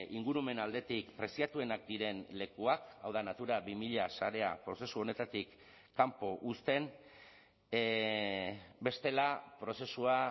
ingurumen aldetik preziatuenak diren lekuak hau da natura bi mila sarea prozesu honetatik kanpo uzten bestela prozesua